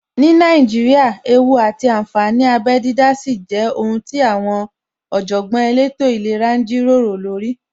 Ní Nàíjíríà, ewú àti ànfàní abẹ dídá sì jẹ́ ohun tí àwọn Ọ̀jọ̀gbọ́n elétò ìlera ń jíròrò lórí